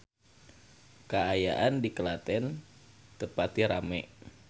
Kaayaan di Klaten teu pati rame